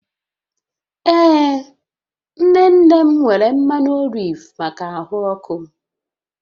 Ee nne nne m nwere mmanụ oliv maka ahụ ọkụ